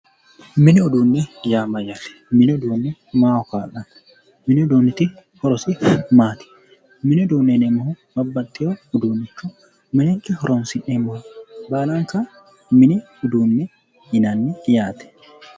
Muni uduunne yaa mayaate mini uduunniti horossi maati minenke horoonsi'neemmore baalla mini uduuneetti yaate